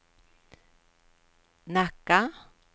Nacka